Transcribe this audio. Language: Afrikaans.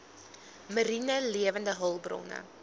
mariene lewende hulpbronne